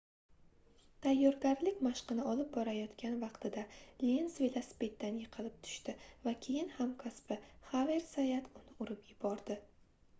tayyorgarlik mashqini olib borayotgan vaqtida lenz velosipeddan yiqilib tushdi va keyin hamkasbi xaver zayat uni urib yubordi